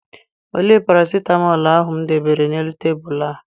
Olee parasịtamọọl ahụ m debere n'elu tebulu a?